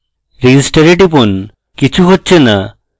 register এ টিপুন কিচ্ছু হচ্ছে না